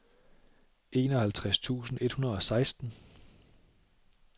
enoghalvtreds tusind et hundrede og seksten